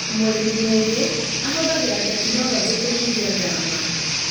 Mũrĩmi mũgĩ ahũthagĩra tekinorojĩ kũnyihia ngarama